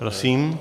Prosím.